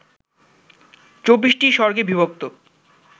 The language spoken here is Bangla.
২৪ টি সর্গে বিভক্ত